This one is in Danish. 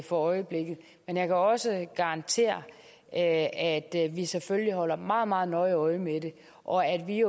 for øjeblikket men jeg kan også garantere at vi selvfølgelig holder meget meget nøje øje med det og at vi